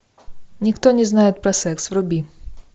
никто не знает про секс вруби